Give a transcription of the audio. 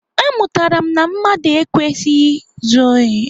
Amụtara m na mmadụ ekwesịghị izu ohi.